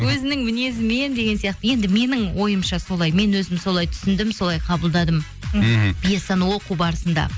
өзінің мінезімен деген сияқты енді менің ойымша солай мен өзім солай түсіндім солай қабылдадым мхм пьесаны оқу барысында